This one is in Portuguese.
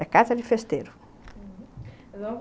É casa de festeiro.